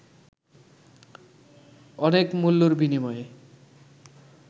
অনেক মূল্যের বিনিময়ে